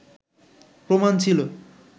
প্রমাণ ছিল